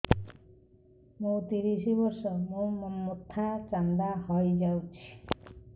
ମୋ ତିରିଶ ବର୍ଷ ମୋ ମୋଥା ଚାନ୍ଦା ହଇଯାଇଛି